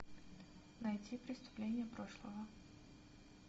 найти преступления прошлого